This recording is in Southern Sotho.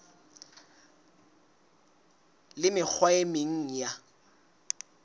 le mekgwa e meng ya